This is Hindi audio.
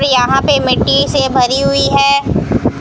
पे यहां पे मिट्टी से भरी हुई है।